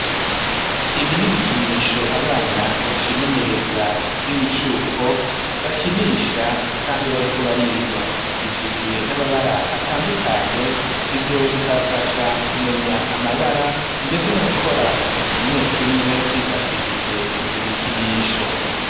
Ibi n'ibikinisho abana bacimenyereza b'imicuko bakinisha kandi bariko bariga bigizwe n'amabara atandukanye ivyo bikabafasha kumenya amabara ndetse no gukora utuntu tumwe tumwe bifashishije ivyo bikinisho.